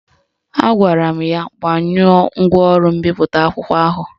Agwara m ya gbanyụọ ngwaọrụ mbipụta akwụkwọ ahụ